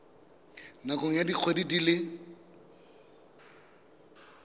nakong ya dikgwedi di le